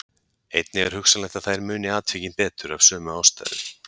Einnig er hugsanlegt að þær muni atvikin betur af sömu ástæðu.